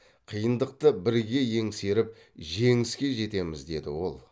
қиындықты бірге еңсеріп жеңіске жетеміз деді ол